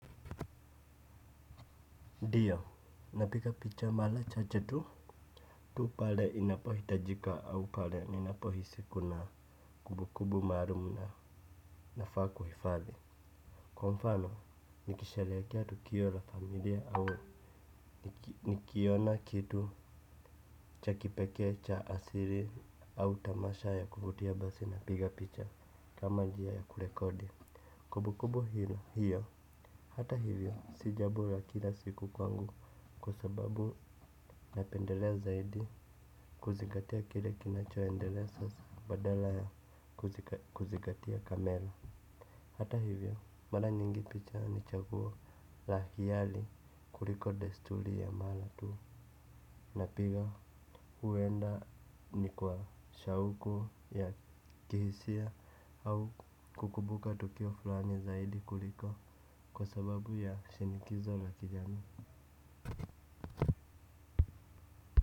Ndiyo, napika picha mala chache tu pale inapohitajika au pale ninapohisi kuna kubukubu maarum na nafaa kuhifadhi. Kwa mfano, nikishelekea tukio la familia au nikiona kitu cha kipekee cha asiri au tamasha ya kuvutia basi napiga picha kama njia ya kurekodi. Kubukubu hiyo hata hivyo si jabo la kila siku kwangu kwa sababu napendelea zaidi kuzingatia kile kinachoendelea sasa badala ya kuzigatia kamera. Hata hivyo mara nyingi picha ni chaguo la hiyali kuliko destuli ya mara tu. Napiga huenda ni kwa shauku ya kihisia au kukumbuka tukio flani zaidi kuliko kwa sababu ya shinikizo na kijamii.